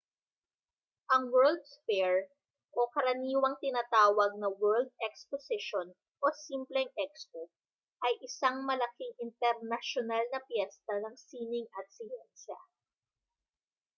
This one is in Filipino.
ang world's fair karaniwang tinatawag na world exposition o simpleng expo ay isang malaking internasyonal na piyesta ng sining at siyensya